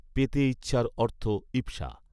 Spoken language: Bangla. পেতে ইচ্ছার অর্থ ইপ্সা